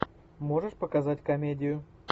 можешь показать комедию